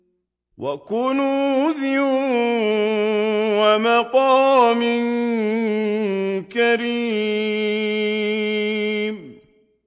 وَكُنُوزٍ وَمَقَامٍ كَرِيمٍ